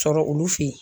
Sɔrɔ olu fe yen